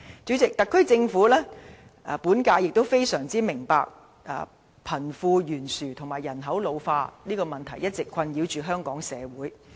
主席，本屆特區政府相當明白貧富懸殊和人口老化的問題一直困擾香港社會。